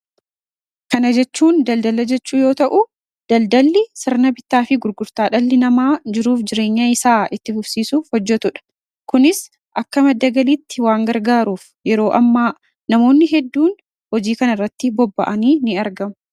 kana jechuun daldala jechuu yoo ta'u daldalli sirna bitaa fi gurgurtaa dhalli namaa jiruuf jireenya isaa itti fufsiisuf hojjetuudha kunis akkama dagaliitti waan gargaaruuf yeroo ammaa namoonni hedduun hojii kana irratti bobba'anii in argam